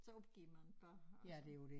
Så opgiver man bare og så